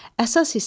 Əsas hissə.